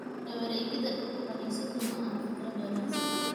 La wareegidda dhulka kaniisaddu maaha fikrad wanaagsan.